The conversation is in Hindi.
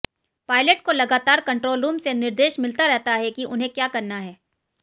पायलट को लगातार कंट्रोल रूम से निर्देश मिलता रहता है कि उन्हें क्या करना है